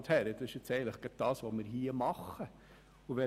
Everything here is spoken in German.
Doch gerade das tun wir nun hier.